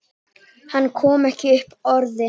Hann kom ekki upp orði.